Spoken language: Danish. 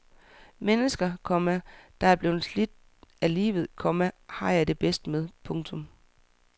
Mennesker, komma der er blevet slidt af livet, komma har jeg det bedst med. punktum